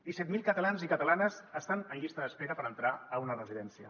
disset mil catalans i catalanes estan en llista d’espera per entrar a una residència